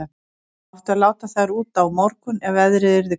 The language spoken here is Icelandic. Það átti að láta þær út á morgun ef veðrið yrði gott.